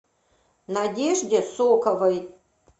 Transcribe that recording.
надежде соковой